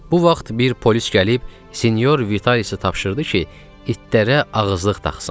Bu vaxt bir polis gəlib Sinyor Vitalicə tapşırdı ki, itlərə ağızlıq taxsın.